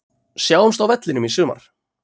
Sjáumst á vellinum í sumar!